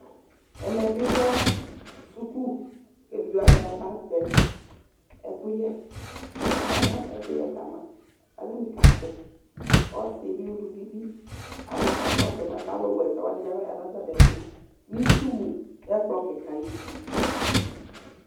ɛkɛ bi lɛ skʋl kʋ ɛvidzɛ wani aba tɛ ɛkʋyɛ, aba ma ɛkʋyɛ kama kʋ atani katɛ, ɔsiibi ʋlʋvi bi, aka kʋ akakɔsʋ ma, alʋ wa ɛsɛ bi abaya nʋ atami ɛtʋ nʋ itsʋ wʋ nʋ ɛkplɔ kikaa ayiti